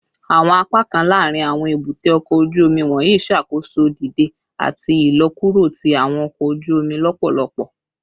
Awọn apakan laarin awọn ebute oko oju omi wọnyi ṣakoso dide ati ilọkuro ti awọn ọkọ oju omi lọpọlọpọ